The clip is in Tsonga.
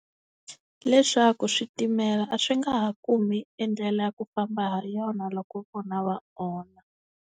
Leswaku switimela a swi nga ha kumi endlela ya ku famba ha yona loko vona va onha.